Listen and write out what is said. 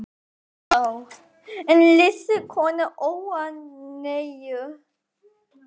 Kristján Már: En lýstu konur óánægju?